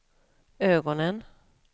ögonen